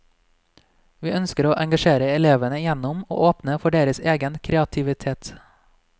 Vi ønsker å engasjere elevene gjennom å åpne for deres egen kreativitet.